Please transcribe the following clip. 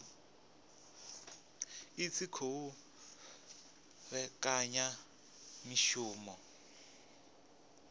i tshi khou vhekanya mishumo